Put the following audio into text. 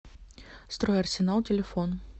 стройарсенал телефон